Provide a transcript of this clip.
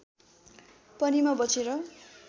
पनि म बचेर